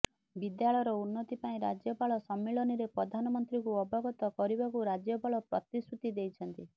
ବିଦ୍ୟାଳୟର ଉନ୍ନତି ପାଇଁ ରାଜ୍ୟପାଳ ସମ୍ମିଳନୀରେ ପ୍ରଧାନମନ୍ତ୍ରୀଙ୍କୁ ଅବଗତ କରିବାକୁ ରାଜ୍ୟପାଳ ପ୍ରତିଶୃତି ଦେଇଛନ୍ତି